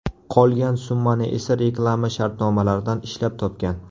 Qolgan summani esa reklama shartnomalaridan ishlab topgan.